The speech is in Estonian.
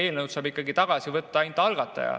Eelnõu saab tagasi võtta ainult algataja.